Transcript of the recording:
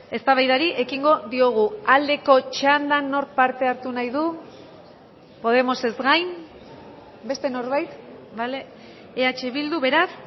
eztabaidari ekingo diogu aldeko txandan nork parte hartu nahi du podemosez gain beste norbait bale eh bildu beraz